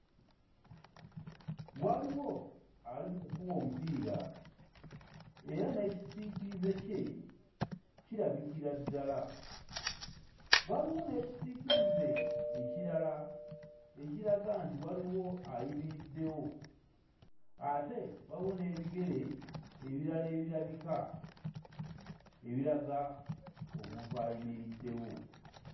Waliwo ali mu kukuba omupiira. Era n'ekisiikirize kye kirabikira ddala. Waliwo n'ekisiikirize ekirala ekiraga nti waliwo ayimiriddewo, ate waliwo n'ebigere ebirala ebirabika ebiraga omuntu ayimiriddewo.